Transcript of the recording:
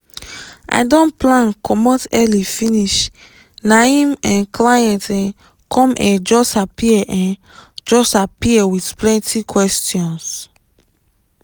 i don plan comot early finish na em um client um come um just appear um just appear with plenty questions